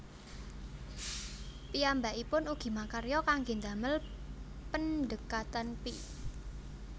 Piyambakipun ugi makarya kangge ndamel pendhekatan pi